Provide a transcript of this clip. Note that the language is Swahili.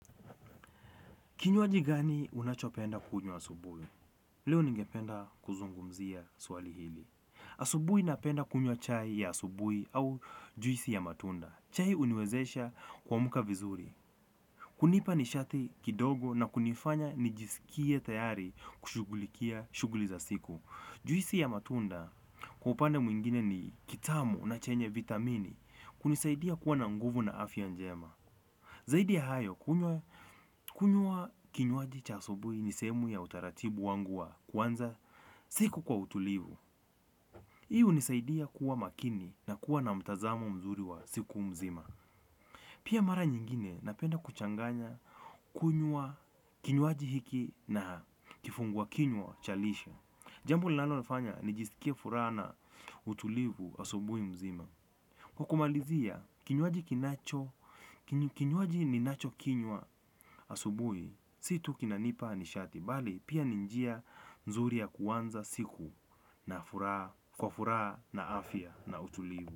Kinywaji gani unachopenda kunywa asubuhi? Leo ningependa kuzungumzia swali hili. Asubuhi napenda kunywa chai ya asubuhi au juisi ya matunda. Chai uniwezesha kwa muka vizuri. Hunipa nishati kidogo na kunifanya nijisikie tayari kushugulikia shughuli za siku. Juisi ya matunda kwa upande mwingine ni kitamu na chenye vitamini. Kunisaidia kuwa na nguvu na afya njema. Zaidi ya hayo, kunywa kinywaji cha asubuhi ni sehemuemu ya utaratibu wangu wa kuanza siku kwa utulivu. Hii hunisaidia kuwa makini na kuwa na mtazamo mzuri wa siku mzima. Pia mara nyingine napenda kuchanganya kunywa kinywaji hiki na kifungwa kinywa cha lishe. Jambo ninalo nafanya nijisikie furaha na utulivu asubuhi mzima. Kwa kumalizia, kinywai kinacho, kinywaji ninacho kinywa asubuhi, si tu kinanipa nishati, bali pia ni njia mzuri ya kuanza siku na kwa furaha na afya na utulivu.